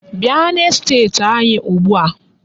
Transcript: Bia n'esteti anyi ugbua.